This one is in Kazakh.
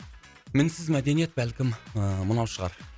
мінсіз мәдениет бәлкім ыыы мынау шығар